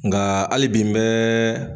Nga hali bi n bɛ